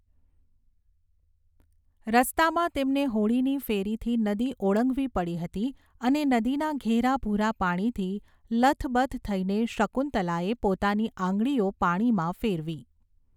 રસ્તામાં તેમને હોડીની ફેરીથી નદી ઓળંગવી પડી હતી અને નદીના ઘેરા ભૂરા પાણીથી લથબથ થઈને શકુંતલાએ પોતાની આંગળીઓ પાણીમાં ફેરવી.